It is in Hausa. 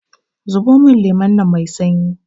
zubo min lemon nan Mai sanyi!